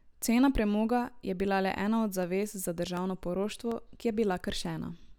Cena premoga je bila le ena od zavez za državno poroštvo, ki je bila kršena.